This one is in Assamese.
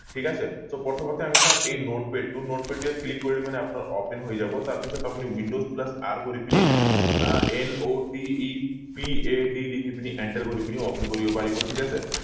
ঠিক আছে so প্ৰথমতে আমি চাম এই notepad টো notepad ইয়াত click কৰিলে মানে আপোনাৰ open হৈ যাব তাৰ পিছত আপুনি windows plus r কৰি পিনি আহ notepad লিখি পিনি enter কৰি পিনি open কৰিব পাৰিব ঠিক আছে